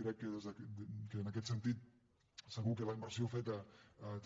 crec que en aquest sentit segur que la inversió feta